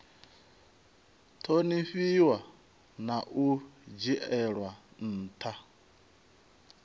ṱhonifhiwa na u dzhielwa nṱha